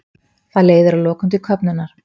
Það leiðir að lokum til köfnunar.